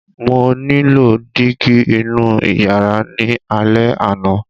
Mo nílò dígí inú ìyàrá ní alẹ́ àná!